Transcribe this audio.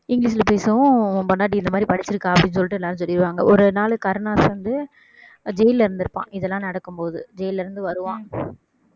இங்கிலிஷ்ல பேசுவும் உன் பொண்டாட்டி இந்த மாதிரி படிச்சிருக்கா அப்படின்னு சொல்லிட்டு எல்லாரும் சொல்லிடுவாங்க ஒரு நாள் கருணாஸ் வந்து jail ல இருந்திருப்பான் இதெல்லாம் நடக்கும் போது jail ல இருந்து வருவான்